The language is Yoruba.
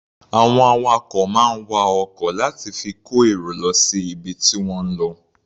Àwọn awakọ̀ máa ń wa ọkọ̀ láti fi kó èrò lọ síbi tí wọ́n ń lọ.